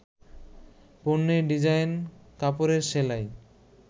পণ্যের ডিজাইন, কাপড়ের সেলাই